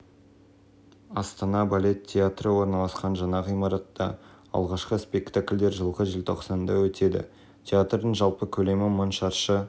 береді тұрғын үй-коммуналдық шаруашылық пайыз бюджетті шығындайды ал бұл орайда ел сінің пайызын беретін өнеркәсіп